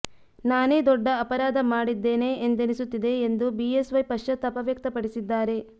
ನಾನೇ ದೊಡ್ಡ ಅಪರಾಧ ಮಾಡಿದ್ದೇನೆ ಎಂದೆನಿಸುತ್ತಿದೆ ಎಂದು ಬಿಎಸ್ವೈ ಪಶ್ಚಾತಾಪ ವ್ಯಕ್ತಪಡಿಸಿದ್ದಾರೆ